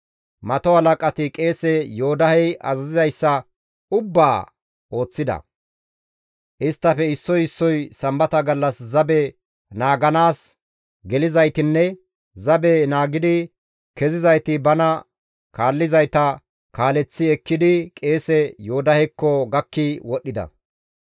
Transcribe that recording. Mato halaqati qeese Yoodahey azazizayssa ubbaaka ooththida; isttafe issoy issoy sambata gallas zabe naaganaas gelizaytinne zabe naagidi kezizayti bana kaallizayta kaaleththi ekkidi qeese Yoodahekko gakki wodhdhida.